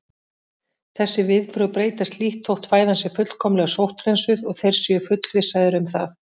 Þessi viðbrögð breytast lítt þótt fæðan sé fullkomlega sótthreinsuð og þeir séu fullvissaðir um það.